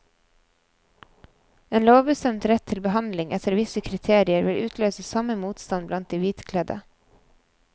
En lovbestemt rett til behandling etter visse kriterier vil utløse samme motstand blant de hvitkledde.